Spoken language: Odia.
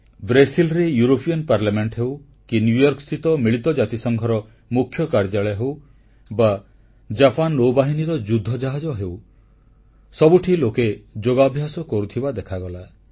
ବ୍ରାସିଲରେ ୟୁରୋପୀୟ ସଂସଦ ହେଉ କି ନ୍ୟୁୟର୍କସ୍ଥିତ ମିଳିତ ଜାତିସଂଘର ମୁଖ୍ୟ କାର୍ଯ୍ୟାଳୟ ହେଉ ବା ଜାପାନ ନୌବାହିନୀର ଯୁଦ୍ଧଜାହାଜ ହେଉ ସବୁଠି ଲୋକେ ଯୋଗାଭ୍ୟାସ କରୁଥିବା ଦେଖାଗଲା